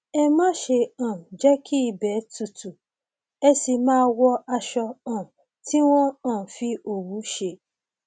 ẹ máṣe um jẹ kí ibẹ tutù ẹ sì máa wọ aṣọ um tí wọn um fi òwú ṣe